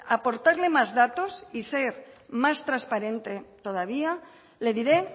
aportarle más datos y ser más transparente todavía le diré